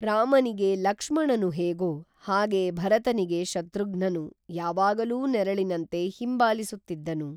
ರಾಮನಿಗೆ ಲಕ್ಷಣನು ಹೇಗೋ ಹಾಗೆ ಭರತನಿಗೆ ಶತೃಘ್ನನು ಯಾವಾಗಲು ನೆರಳಿನಂತೆ ಹಿಂಬಾಲಿಸುತ್ತಿದ್ದನು